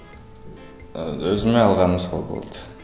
ыыы өзіме алғаным сол болды